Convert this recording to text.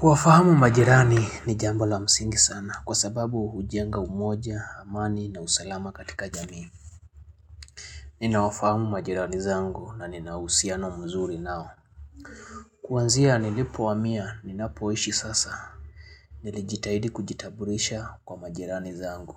Kuwafahamu majirani ni jambo la msingi sana, kwa sababu hujenga umoja, amani na usalama katika jamii. Ninawafahamu majirani zangu, na nina uhusiano mzuri nao. Kuanzia nilipohamia, ninapoishi sasa, nilijitahidi kujitambulisha kwa majirani zangu.